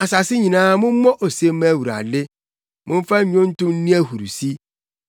Asase nyinaa mommɔ ose mma Awurade, momfa nnwonto nni ahurusi;